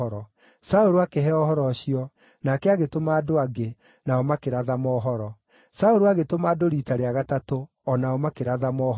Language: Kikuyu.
Saũlũ akĩheo ũhoro ũcio, nake agĩtũma andũ angĩ, nao makĩratha mohoro. Saũlũ agĩtũma andũ riita rĩa gatatũ, o nao makĩratha mohoro.